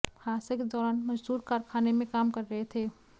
हादसे के दौरान मजदूर कारखाने में काम कर रहे थे